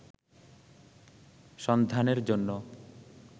সন্ধানের জন্য